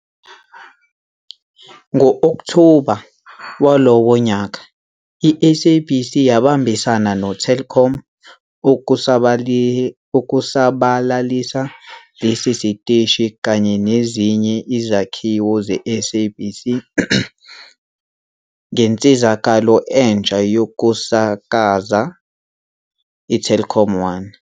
Ngo-Okthoba walowo nyaka, iSABC yabambisana noTelkom ukusabalalisa lesi siteshi kanye nezinye izakhiwo zeSABC ngensizakalo entsha yokusakaza, iTelkomOne.